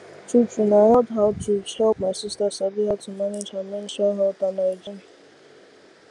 true true na health outreach help my sister sabi how to manage her menstrual health and hygiene